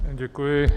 Děkuji.